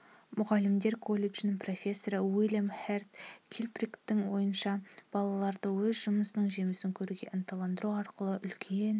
мұғалімдер колледжінің профессоры уильям херд килпатриктің ойынша балаларды өз жұмысының жемісін көруге ынталандыру арқылы үлкен